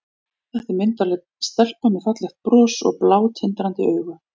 Þetta er myndarleg stelpa með fallegt bros og blá, tindrandi augu.